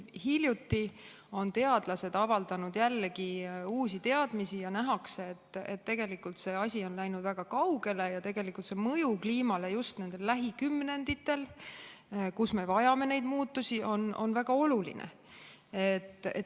Hiljuti on teadlased avaldanud jällegi uusi teadmisi ja nähakse, et tegelikult see asi on läinud väga kaugele ja selle mõju kliimale just nendel lähikümnenditel, kus me vajame neid muutusi, on väga oluline.